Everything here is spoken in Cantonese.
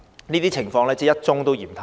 這些情況真的是一宗都嫌太多。